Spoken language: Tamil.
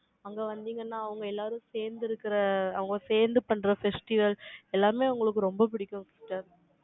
அங்க வந்தீங்கன்னா, அவங்க எல்லாரும், சேர்ந்து இருக்கிற, அவங்க சேர்ந்து பண்ற, festivals, எல்லாமே, உங்களுக்கு, ரொம்ப பிடிக்கும், sister